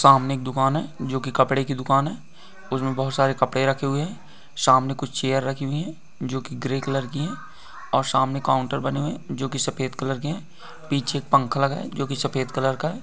सामने एक दुकान है जोकि कपड़े की दुकान है| उसमे बहोत सारे कपड़े रखे हुए हैं| सामने कुछ चेयर रखी हुयी है जोकि ग्रे कलर की है और समाने काउन्टर बने हुए है जोकि सफ़ेद कलर के है| पीछे एक पंखा लगा है जोकि सफेद कलर का है।